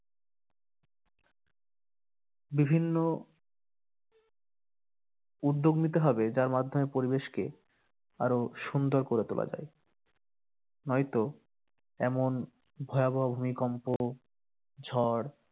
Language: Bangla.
বিভিন্ন উদ্যোগ নিতে হবে যার মাধ্যমে পরিবেশকে আরো সুন্দর করে তুলে যায়। নয়তো এমন ভয়াবহ ভূমিকম্প ঝড়